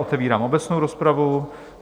Otevírám obecnou rozpravu.